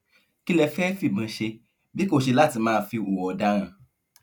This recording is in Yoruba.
kí lẹ fẹẹ fìbọn ṣe bí kò ṣe láti máa fi hùwà ọdaràn